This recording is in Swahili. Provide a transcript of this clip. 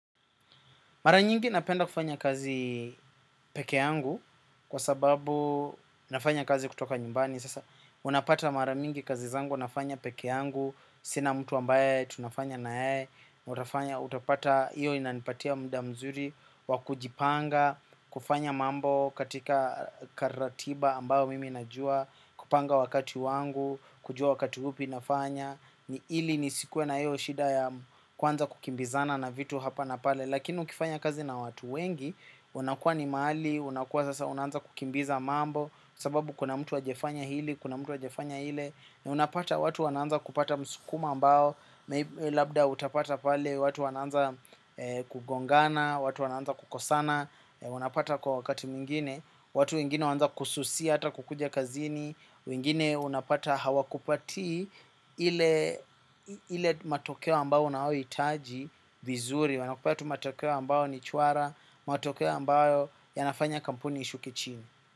Mara nyingi napenda kufanya kazi peke angu kwa sababu nafanya kazi kutoka nyumbani. Sasa unapata mara mingi kazi zangu nafanya peke angu. Sina mtu ambaye tunafanya na yeye. Utafanya utapata, iyo inanipatia mda mzuri wa kujipanga, kufanya mambo katika karatiba ambao mimi najua, kupanga wakati wangu, kujua wakati upi nafanya. Ni ili nisikuwe na hiyo shida ya kuanza kukimbizana na vitu hapa na pale. Lakini ukifanya kazi na watu wengi, unakuwa ni mahali, unakuwa sasa unaanza kukimbiza mambo, sababu kuna mtu hajafanya hili, kuna mtu hajafanya ile, na unapata watu wanaanza kupata msukumo ambao, labda utapata pale watu wanaanza kugongana, watu wanaanza kukosana. Unapata kwa wakati mwingine, watu mwingine wanaanza kususia hata kukuja kazini. Wengine unapata hawakupatii ile matokeo ambayo unaohitaji vizuri. Wanakupea tu matokeo ambayo ni chwara, matokeo ambayo yanafanya kampuni ishuke chini.